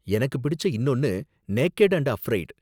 எனக்கு பிடிச்ச இன்னொன்னு நேகெட் அண்டு அஃப்ரெய்டு.